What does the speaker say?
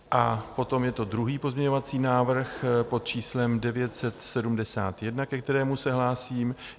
A potom je to druhý pozměňovací návrh pod číslem 971, ke kterému se hlásím.